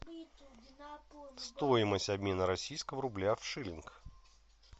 стоимость обмена российского рубля в шиллинг